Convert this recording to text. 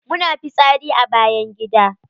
Muna fitsari a bayan gida.